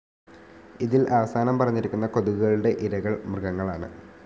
ഇതിൽ അവസാനം പറഞ്ഞിരിക്കുന്ന കൊതുകുകളുടെ ഇരകൾ മൃഗങ്ങളാണ്‌.